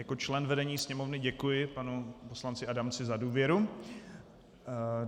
Jako člen vedení Sněmovny děkuji panu poslanci Adamcovi za důvěru.